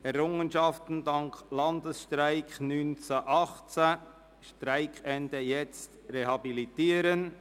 «Errungenschaften dank des Landesstreiks von 1918 – Streikende jetzt rehabilitieren».